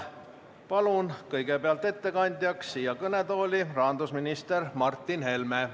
Palun kõigepealt ettekandjaks siia kõnetooli rahandusminister Martin Helme.